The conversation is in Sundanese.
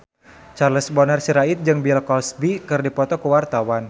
Charles Bonar Sirait jeung Bill Cosby keur dipoto ku wartawan